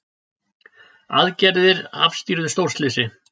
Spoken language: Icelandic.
Aðgerðir afstýrðu stórslysi